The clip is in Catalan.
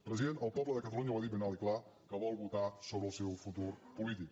president el poble de catalunya ho ha dit ben alt i clar que vol votar sobre el seu futur polític